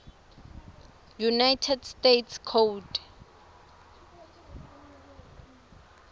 united states code